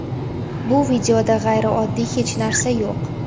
Bu videoda g‘ayrioddiy hech narsa yo‘q.